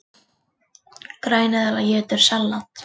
Græneðla étur salat!